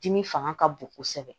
Dimi fanga ka bon kosɛbɛ